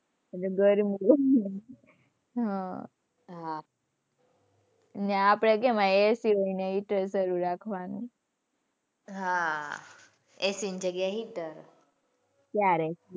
હમ્મ હાં આપણે કેમ અહિયાં AC હોય ત્યાં હીટર ચાલુ રાખવાનું. હાં AC ની જગ્યા એ હીટર. ત્યારે